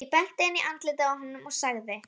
Ég benti inn í andlitið á honum og sagði